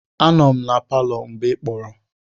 Anọ m na palọ mgbe ị kpọrọ.